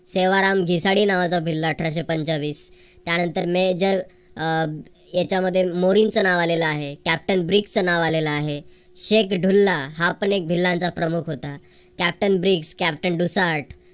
सेवाराम घिसाडे नावाचा भिल्ल अठराशे पंचवीस. त्यानंतर मेजर याच्यामध्ये मोदींचं नाव आलेल आहे. कॅप्टन ब्रिग्जचं नाव आलेल आहे. शेख ढुल्ला हा पण एक भिल्लांचा प्रमुख होता. Captain Bridge captain डूसार्ड